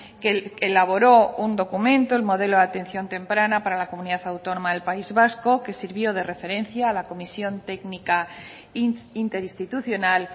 que elaboró un documento el modelo de atención temprana para la comunidad autónoma del país vasco que sirvió de referencia a la comisión técnica interinstitucional